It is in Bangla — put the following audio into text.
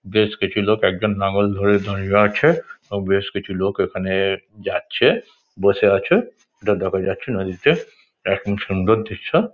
বেশ কিছু লোক একজন লাঙল ধরে দাঁড়িয়ে আছে। আর বেশ কিছু লোক এখানে যাচ্ছে বসে আছে এটা দেখা যাচ্ছে নদীতে। এটা খুব সুন্দর দৃশ্য।